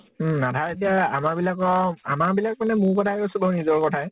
উম । আধা এতিয়া । আমাৰ বিলাকৰ, আমাৰ বিলাক মানে মোৰ কথা কৈছো বাৰু , নিজৰ কথায়ে